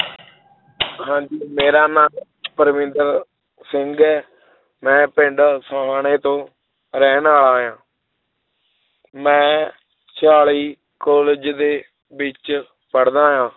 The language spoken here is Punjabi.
ਹਾਂਜੀ ਮੇਰਾ ਨਾਂ ਪਰਵਿੰਦਰ ਸਿੰਘ ਹੈ ਮੈਂ ਪਿੰਡ ਸੁਹਾਣੇ ਤੋਂ ਰਹਿਣ ਵਾਲਾ ਹਾਂ ਮੈਂ ਚਾਲੀ college ਦੇ ਵਿੱਚ ਪੜ੍ਹਦਾ ਹਾਂ l